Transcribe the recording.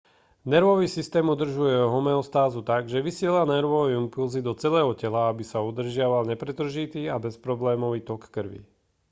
nervový systém udržuje homeostázu tak že vysiela nervové impulzy do celého tela aby sa udržiaval nepretržitý a bezproblémový tok krvi